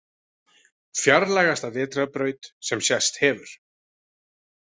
Fjarlægasta vetrarbraut sem sést hefur